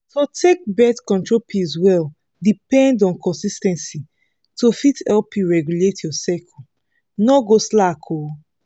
to take birth control pills well depend on consis ten cy to fit help you regulate your cycle no go slack o.